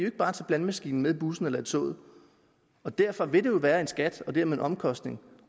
ikke bare tage blandemaskinen med i bussen eller toget derfor vil det være en skat og dermed en omkostning